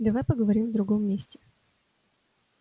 давай поговорим в другом месте